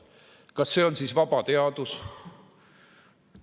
Kas see on siis vaba teadus?